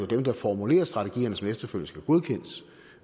dem der formulerer strategierne som efterfølgende skal godkendes